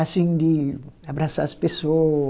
assim, de abraçar as pessoa